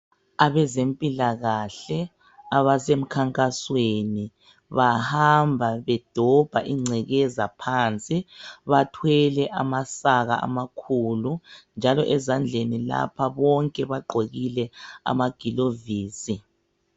Abazempilakahle abasemkhankasweni bahamba bedomba ingcekeza phansi bathwele amasaka amakhulu njalo ezandleni lapha bonke bagqokile amaglavisi.